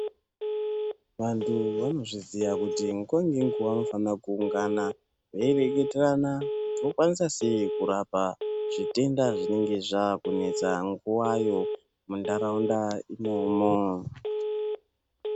Vantu vanozviziya kuti nguva nenguva vanofanirwa kuungana vei reketerana kuti vokwanisa sei kurapa zvitenda zvinenge zvava kunetsa nguvayo muntaraunda imomo.